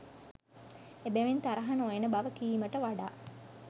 එබැවින් තරහ නොයන බව කීමට වඩා